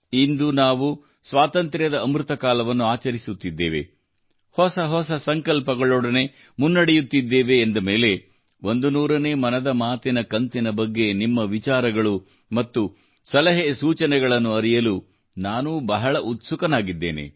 ಇಂದು ನಾವು ಸ್ವಾತಂತ್ರ್ಯದ ಅಮೃತಕಾಲವನ್ನು ಆಚರಿಸುತ್ತಿದ್ದೇವೆ ಹೊಸ ಹೊಸ ಸಂಕಲ್ಪಗಳೊಂದಿಗೆ ಮುನ್ನಡೆಯುತ್ತಿದ್ದೇವೆ ಎಂದ ಮೇಲೆ 100 ನೇ ಮನದ ಮಾತಿನ ಕಂತಿನ ಬಗ್ಗೆ ನಿಮ್ಮ ವಿಚಾರಗಳು ಮತ್ತು ಸಲಹೆ ಸೂಚನೆಗಳನ್ನು ಅರಿಯಲು ನಾನೂ ಬಹಳ ಉತ್ಸುಕನಾಗಿದ್ದೇನೆ